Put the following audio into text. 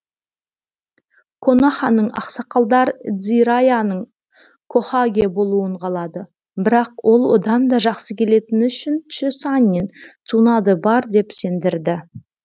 коноханың ақсақалдар дзираяның хокагэ болуын қалады бірақ ол одан да жақсы келетін үшінші саннин цунадэ бар деп сендірді